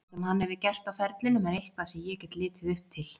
Það sem hann hefur gert á ferlinum er eitthvað sem ég get litið upp til.